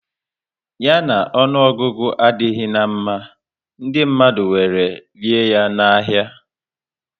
Ya na ọnụọgụgụ adịghị na mma, ndị mmadụ were rie ya na ahia